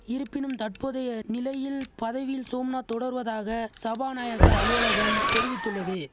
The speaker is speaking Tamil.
இருப்பினும் தற்போதைய நிலையில் பதவியில் சோம்நாத் தொடர்வதாக சபாநாயகர் அலுவலகம் தெரிவித்துள்ளது